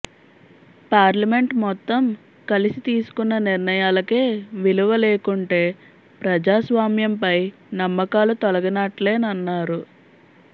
parliament మొత్తం కలిసి తీసుకున్న నిర్ణయాలకే విలువ లేకుంటే ప్రజాస్వామ్యంపై నమ్మకాలు తొలగినట్లేనన్నారు